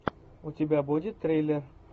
у тебя будет триллер